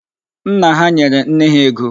Nna ha nyere nne ha ego.